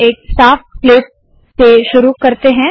एक साफ स्लेट से शुरुवात करते है